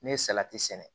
Ne ye salati sɛnɛ